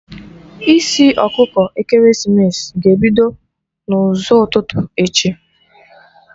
Isi ọkụkọ ekeresimesi ga-ebido n'ụzọ ụtụtụ echi